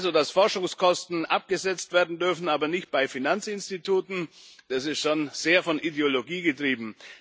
Dass Forschungskosten abgesetzt werden dürfen, aber nicht bei Finanzinstituten, das ist schon sehr von Ideologie getrieben.